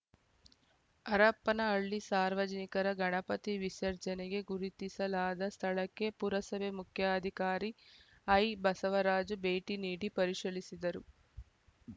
ಹರಪನಹಳ್ಳಿ ಸಾರ್ವಜನಿಕರ ಗಣಪತಿ ವಿಸರ್ಜನೆಗೆ ಗುರುತಿಸಲಾದ ಸ್ಥಳಕ್ಕೆ ಪುರಸಭೆ ಮುಖ್ಯಾಧಿಕಾರಿ ಐಬಸವರಾಜ ಭೇಟಿ ನೀಡಿ ಪರಿಶಲಿಸಿದರು